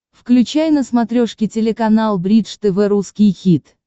включай на смотрешке телеканал бридж тв русский хит